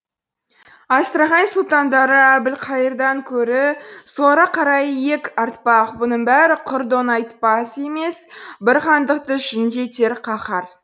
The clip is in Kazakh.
астрахань сұлтандары әбілқайырдан көрі соларға қарай иек артпақ бұның бәрі құр доңайбат емес бір хандықты жүн етер қаһар